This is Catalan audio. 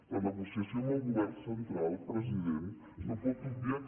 la negociació amb el govern central president no pot obviar que